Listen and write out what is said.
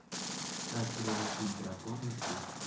как приручить дракона три